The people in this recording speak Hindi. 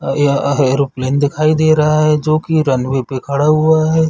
अ य एरोप्लेन दिखाई दे रहा है जो की रनवे पे खड़ा हुआ है।